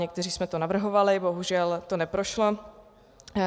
Někteří jsme to navrhovali, bohužel to neprošlo.